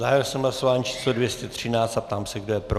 Zahájil jsem hlasování číslo 213 a ptám se, kdo je pro.